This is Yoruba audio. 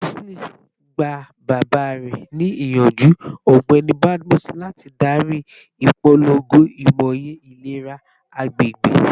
Roseline, gba baba rẹ ni iyanju, Ọgbẹni Badmus, lati dari ipolongo imoye ilera agbegbe